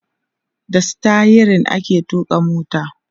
da sitayirin ake tuƙa mota